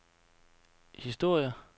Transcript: historier